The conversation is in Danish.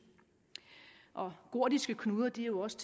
gordiske knuder kan jo også